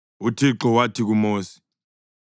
UThixo wathi kuMosi,